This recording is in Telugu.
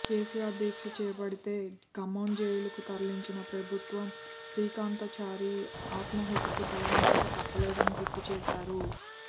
కేసీఆర్ దీక్ష చేపడితే ఖమ్మం జైలుకు తరలించిన ప్రభుత్వం శ్రీకాంతాచారి ఆత్మాహుతికి తలవంచక తప్పలేదని గుర్తుచేశారు